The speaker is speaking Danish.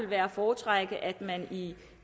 være at foretrække at man i